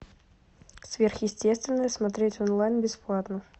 сверхъестественное смотреть онлайн бесплатно